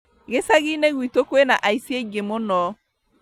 Gicagi-inĩ gwitũ kwĩna aici aingĩ mũno